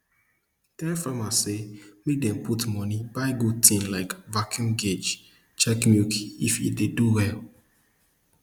tell farmers say make dem put moni buy good tin like vacuum guage check milk if e dey do well